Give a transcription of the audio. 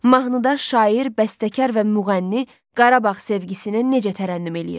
Mahnıda şair, bəstəkar və müğənni Qarabağ sevgisini necə tərənnüm eləyir?